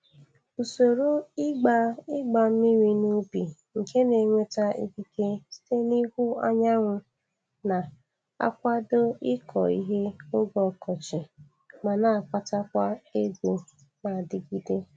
Usoro ịgba ịgba mmiri n'ubi nke na-enweta ikike site n'ihu anyanwụ na-akwado ịkọ ihe oge ọkọchị ma na-akpatakwa ego na-adịgide.